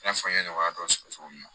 I n'a fɔ n ye nɔgɔya dɔ sɔrɔ cogo min na